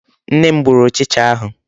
Nne m gburu ụchịcha ahụ.